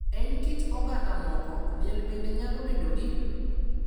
E kit oganda moko, liel bende nyalo bedo gi ,